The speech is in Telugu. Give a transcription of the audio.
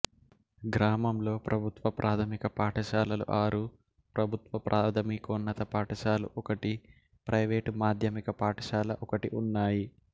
గ్రామంలో ప్రభుత్వ ప్రాథమిక పాఠశాలలు ఆరు ప్రభుత్వ ప్రాథమికోన్నత పాఠశాల ఒకటి ప్రైవేటు మాధ్యమిక పాఠశాల ఒకటి ఉన్నాయి